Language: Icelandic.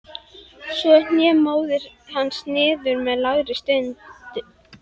Svo hné móðir hans niður með lágri stunu.